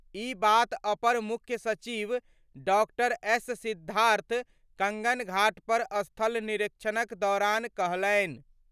ई बात अपर मुख्य सचिव डॉ. एस. सिद्धार्थ कंगन घाट पर स्थल निरीक्षणक दौरान कहलनि।